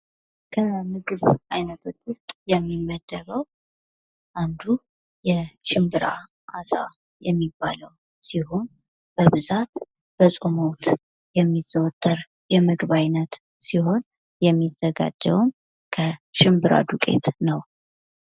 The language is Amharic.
ከ ምግብ አይነቶች ውስጥ የሚመደበው አንዱ የሽምብራ አሳ የሚባለው ሲሆን፤ በብዛት በጾም ወቅት የሚዘወተር የምግብ አይነት ሲሆን፤ የሚዘጋጀውም ከሽምብራ ዱቄት ነው።